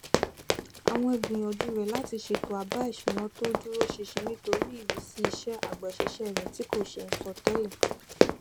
àwọn ìgbìyànjú rẹ láti ṣètò àbá ìṣúná tó dúró ṣinṣin nítorí ìrísí iṣẹ agbaṣẹṣe rẹ tí kò ṣe é sọtẹlẹ